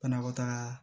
Banakɔtaga